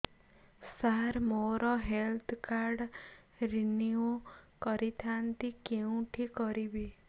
ସାର ମୋର health card renew କରିଥାନ୍ତି କେଉଁଠି କରିବି